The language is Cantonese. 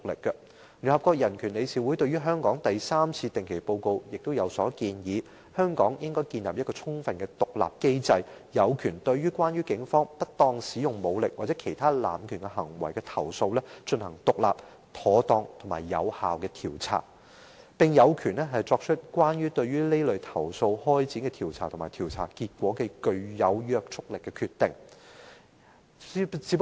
聯合國人權理事會在對香港的第三次定期報告中，亦建議香港應該建立一個充分獨立的機制，有權對關於警方不當使用武力或其他濫權行為的投訴進行獨立、妥當和有效的調查，並有權對此類投訴開展的調查和調查結果，作出具約束力的決定。